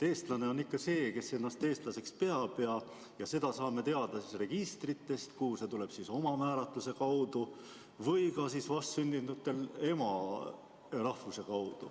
Eestlane on ikka see, kes ennast eestlaseks peab, ja seda saame teada registritest, kuhu see pannakse kirja omamääratluse alusel, vastsündinute puhul aga ütleb ema nende rahvuse.